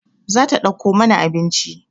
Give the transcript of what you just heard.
Za ta ɗauko mana abinci